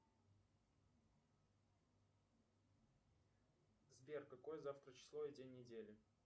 сбер какое завтра число и день недели